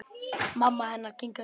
Mamma hennar kinkar kolli.